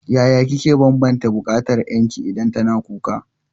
Yaya kike banbanta bukatar ƴarki idan tana kuka?